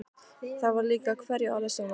Það var líka hverju orði sannara.